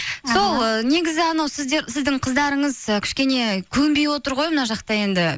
сол ыыы негізі анау сіздің қыздарыңыз ы кішкене көнбей отыр ғой мына жақта енді